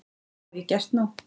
Það hef ég gert nú.